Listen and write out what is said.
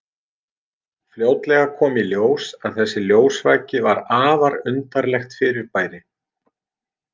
Fljótlega kom í ljós að þessi ljósvaki var afar undarlegt fyrirbæri.